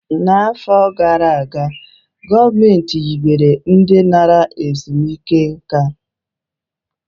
N'afọ gara aga, gọọmentị hibere obodo ndi nara ezumike nka a